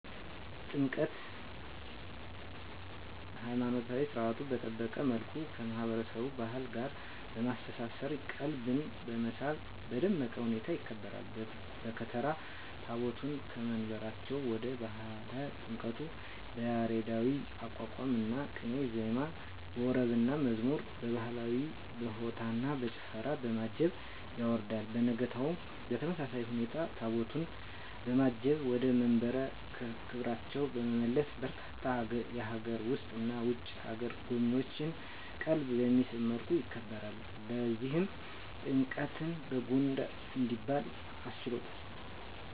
ጥምቀት!! ሀይማኖታዊ ሰርዓቱን በጠበቀ መልኩ ከማህበረሰቡ ባህል ጋር በማስተሳሰር ቀልብን በመሳብ በደመቀ ሁኔታ ይከበራል። በከተራ ታቦታቱን ከየመንበራቸው ወደ ባህረ ጥምቀቱ በያሬዳዊ የአቋቋምና ቅኔ ዜማ፣ በወረብና መዝሙር፣ በባህላዊ በሆታና በጭፈራ፣ በማጀብ ያወርዳል። በነጋታው በተመሳሳይ ሁኔታ ታቦታቱን በማጀብ ወደ መንበረ ክብራቸው በመመለስ በርካታ የሀገር ውስጥና የውጭ አገር ጎብኚዎችን ቀልብ በሚስብ መልኩ ያከብራል። ለዚህም ጥምቀትን በጎንደር እንዲባል አስችሎታል!!